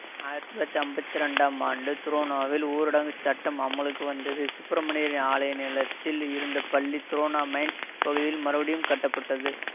ஆயிரத்தி தொள்ளாயிரத்தி அம்பத்தி ரெண்டாம் ஆண்டு துரோனோவில் ஊரடங்கு சட்டம் அமலுக்கு வந்தது சுப்பிரமணிர் ஆலய நிலத்தில் இருந்த பள்ளி துரோனோ மைன்ஸ் பகுதியில் மறுபடியும் கட்டப்பட்டது